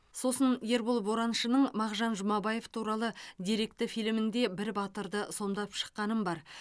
сосын ербол бораншының мағжан жұмабаев туралы деректі фильмінде бір батырды сомдап шыққаным бар